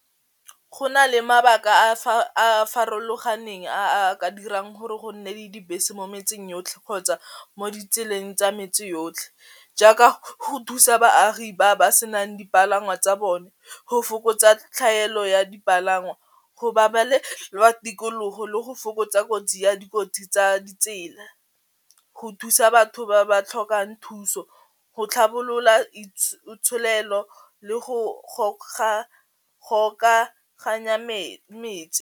Go na le mabaka a a farologaneng a a ka dirang gore go nne le dibese mo metseng yotlhe kgotsa mo ditseleng tsa metsi yotlhe, jaaka ho thusa baagi ba ba se nang dipalangwa tsa bone, go fokotsa tlhaelo ya dipalangwa, go tikologo le go fokotsa kotsi ya dikotsi tsa ditsela, go thusa batho ba ba tlhokang thuso, go tlhabolola itsholelo, le go gokaganya metse.